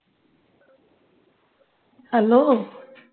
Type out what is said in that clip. hello